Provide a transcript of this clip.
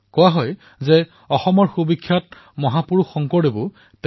কোৱা হয় যে অসমৰ সুবিখ্যাত সন্ত শংকৰদেৱো তেওঁৰ দ্বাৰা প্ৰেৰিত হৈছিল